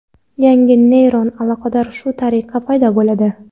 Yangi neyron aloqalar shu tariqa paydo bo‘ladi.